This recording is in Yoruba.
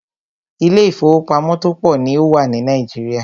Ilé ìfọwọ́pamo tó pọ̀ ní o wà ní Nàìjíríà.